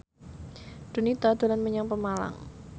Donita dolan menyang Pemalang